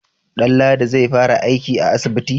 Danladi zai fara aiki a asibiti?